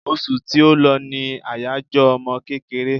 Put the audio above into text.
Osù tí ó lọ ní àyájọ́ ọmọ kékeré